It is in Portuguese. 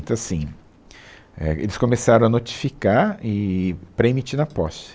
Então, assim, é, eles começaram a notificar e pré-emitindo a posse.